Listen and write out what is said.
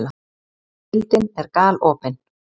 Deildin er galopin